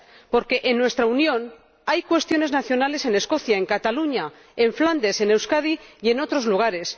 Porque en nuestra Unión hay cuestiones nacionales en Escocia, en Cataluña, en Flandes, en Euskadi y en otros lugares.